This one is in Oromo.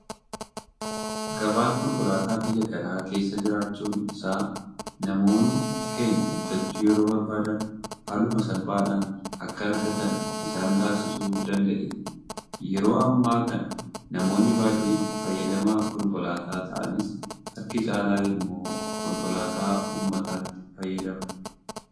Gabaan konkolaataa biyya kana keessa jiraachuun isaa namoonni keenya bitachuu yeroo barbaadan haaluma salphaadhaan akka argatan isaan taasisuu danda'eera. Yeroo ammaa kana namoonni baay'een fayyadamaa konkolaataa ta'anis harki caalu immoo konkolaataa uummataatti fayyadama.